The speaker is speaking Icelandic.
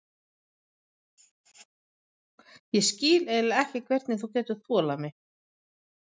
Ég skil eiginlega ekki hvernig þú getur þolað mig.